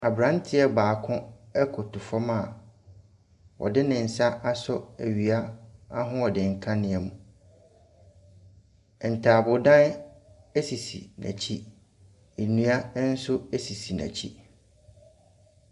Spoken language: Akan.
Abranteɛ baako ɛkoto fam a ɔde ne nsa asɔ owiaahoɔden kanea mu. Ntaabodan esisi n'akyi. Nnua nso esisi n'akyi .